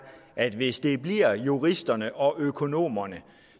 at hvis det bliver juristerne og økonomerne